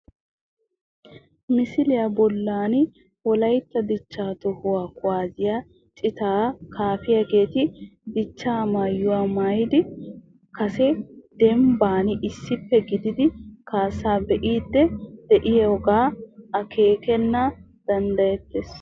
Misiliya bollan wolaytta dichchaa toho kuwaasiya citaa kaafiyageeti dichchaa maayuwa maayidi kaassaa dembban issippe gididi kaassaa be'iiddi de'iyogaa akeekana danddayettees